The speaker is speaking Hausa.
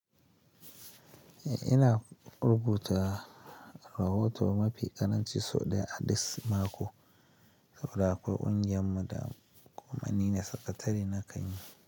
Eh, ina rubuta rahoto mafi ƙaranci sau ɗaya a dis mako. Saboda akwa ƙungiyar mu da kuma ni ne sakatare na kanyi.